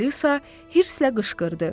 Alisa hirslə qışqırdı.